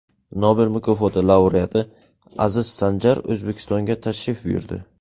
Nobel mukofoti laureati Aziz Sanjar O‘zbekistonga tashrif buyurdi.